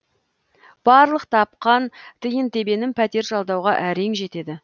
барлық тапқан тиын тебенім пәтер жалдауға әрең жетеді